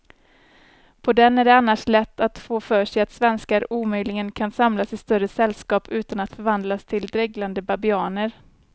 På den är det annars lätt att få för sig att svenskar omöjligen kan samlas i större sällskap utan att förvandlas till dreglande babianer.